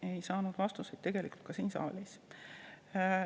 Ei saanud vastuseid tegelikult ka siin saalis.